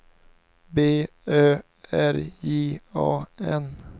B Ö R J A N